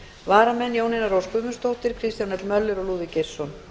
varamenn eru jónína rós guðmundsdóttir kristján l möller og lúðvík geirsson